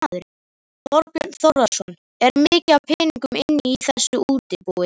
Þorbjörn Þórðarson: Er mikið af peningum inni í þessu útibúi?